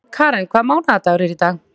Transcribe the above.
Karen, hvaða mánaðardagur er í dag?